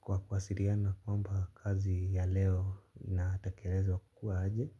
kwa wasiliana kwamba kazi ya leo na tekelezwa kukuwa aje